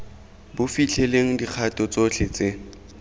bo fitlhelelang dikgato tsotlhe tse